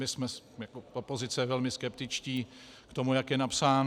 My jsme jako opozice velmi skeptičtí k tomu, jak je napsán.